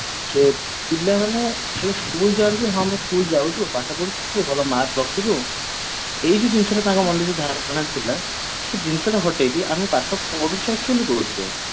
ପିଲାମାନେ ଖାଲି school ଯାନ୍ତି ହଁ ଆମେ school ଯାଉଛୁ ପାଠ ପଢିବୁ ଭଲ mark ରଖିବୁ ଏଇ ଯୋଉ ଜିନିଷ ଟା ତାଙ୍କ ମନରେ ଯୋଉ ଧାରଣା ଥିଲା ସେ ଜିନିଷ ଟା ହଟେଇକି ଆମେ ପାଠ ପଢୁଛେ actually କୋଉଥି ପାଇଁ